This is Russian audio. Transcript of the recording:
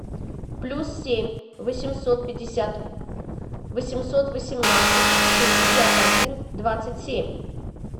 плюс семь восемьсот пятьдесят восемьсот восемнадцать шестьдесят один двадцать семь